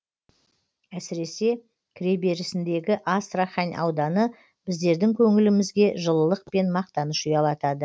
әсіресе кіреберісіндегі астрахань ауданы біздердің көңілімізге жылылық пен мақтаныш ұялатады